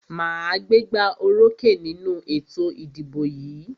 Màá gbégbá orókè nínú ètò ìdìbò yìí.